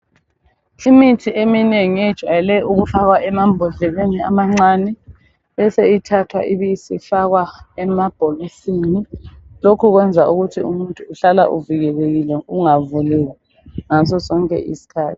Imithi eminengi ejayele ukufakwa emambodleleni amancani bese ithathwa ifakwa emabhokisini lokhu kwenza ukuthi umuntu ehlale evikelekile ungavumi ngaso sonke iskhathi